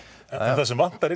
það sem vantar í